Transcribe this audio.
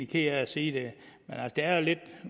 ked af at sige det at det er lidt